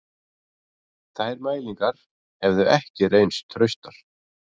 Þær mælingar hefðu ekki reynst traustar